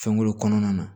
Fɛnko kɔnɔna na